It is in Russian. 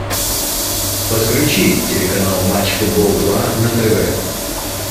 подключи телеканал матч футбол два на тв